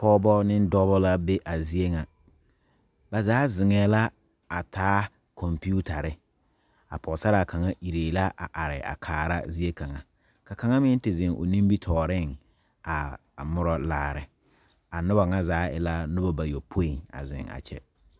Pɔgebɔ ne dɔbɔ la be a zie ŋa ba zaa zeŋɛɛ la a taa kompetare a pɔgesaraa kaŋa iree la a kaara ziekaŋa ka kaŋa meŋ te zeŋ o nimitɔɔreŋ a mora laare a noba ŋa zaa e la noba bayopoi a zeŋ a kyɛ.